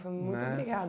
Foi muito obrigada.